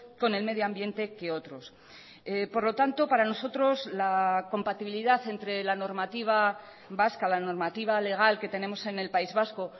con el medio ambiente que otros por lo tanto para nosotros la compatibilidad entre la normativa vasca la normativa legal que tenemos en el país vasco